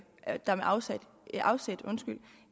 at der med afsæt